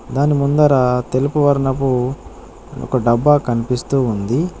దాని ముందర తెలుపు వర్ణపు ఒక డబ్బా కనిపిస్తూ ఉంది.